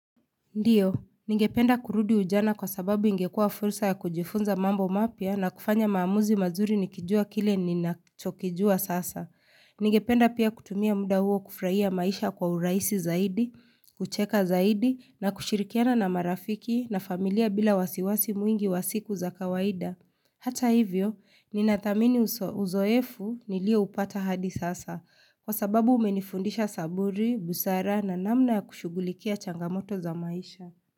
Ndiyo, ningependa kurudi ujana kwa sababu ingekua fursa ya kujifunza mambo mapya na kufanya maamuzi mazuri nikijua kile ninachokijua sasa. Ningependa pia kutumia muda huo kufurahia maisha kwa urahisi zaidi, kucheka zaidi na kushirikiana na marafiki na familia bila wasiwasi mwingi wasiku za kawaida. Hata hivyo, ninathamini uzoefu nilioupata hadi sasa kwa sababu umenifundisha saburi, busara na namna ya kushugulikia changamoto za maisha.